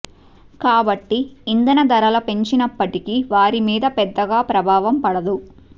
కాబట్టి ఇంధన ధరల పెంచినప్పటికి వారి మీద పెద్దగా ప్రభావం పడదు